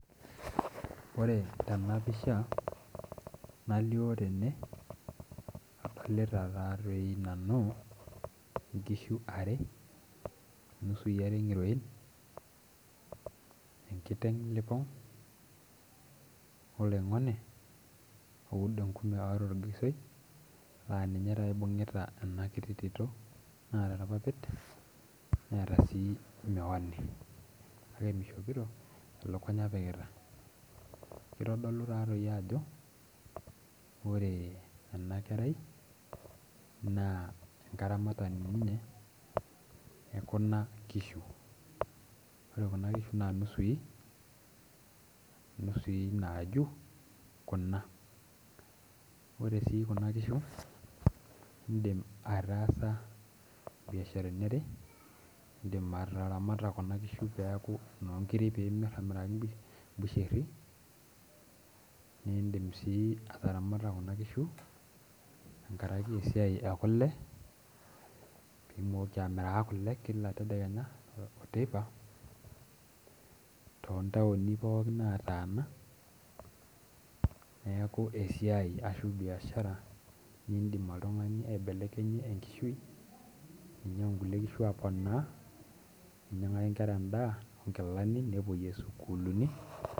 Ore tena pisha nalio tene adolita taatoi nanu inkishu are inusui are ng'iroin enkiteng lipong oloing'oni oudo enkume oota orgisoi laa ninye taata ibung'ita ena kiti tito naata irpapit neeta sii miwani kake mishopito elukunya epikita kitodolu taatoi ajo ore ena kerai naa enkaramatani ninye ekuna kishu ore kuna kishu naa inusui inusui naaju kuna ore sii kuna kishu indim ataasa imbiasharani are indim ataramata kuna kishu peeku inonkiri piimirr amiraki imbusherri nindim sii ataramata kuna kishu enkarake esiai ekule pimooki amiraa kule kila tedekenya oteipa tontaoni pookin nataana neeku esiai ashu biashara nindim oltung'ani aibelekenyie enkishui ninyiang'u inkulie kishu aponaa ninyiang'aki inkera endaa onkilani nepuoyie isukuluni.